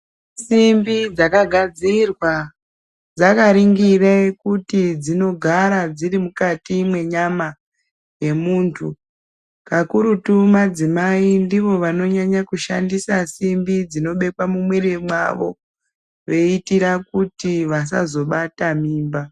Simbi dzakagadzirwa dzakaringire kuti dzinogara dziri mukati mwenyama yemuntu kakurutu madzimai ndivo vanonyanya kushandisa simbi dzinobekwa mumwiri mwavo veitira kuti vasazobata mimba.